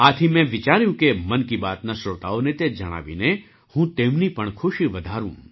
આથી મેં વિચાર્યું કે મન કી બાતના શ્રોતાઓને તે જણાવીને હું તેમની પણ ખુશી વધારું